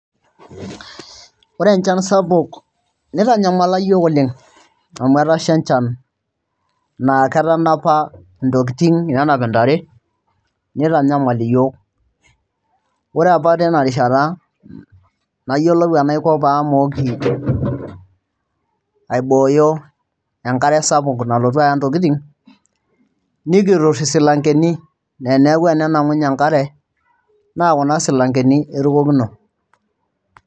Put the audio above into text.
Ore enchan sapuk nitanyamala iyiook oleng' amu etasha enchan naa ketanapa ntokitin, nenap ntare nitanyamal iyiook ore apa tina rishata nayiolou enaiko pee amooki aibooyo enkare sapuk nalotu aya ntokitin nikiturr isilankeni neeku enenang'unye enkare naa kuna silankeni erukokino.